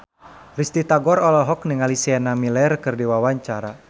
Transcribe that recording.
Risty Tagor olohok ningali Sienna Miller keur diwawancara